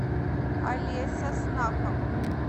олеся снахова